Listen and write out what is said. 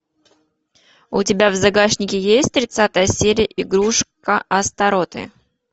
у тебя в загашнике есть тридцатая серия игрушка астаротты